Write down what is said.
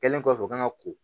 Kɛlen kɔfɛ ka ko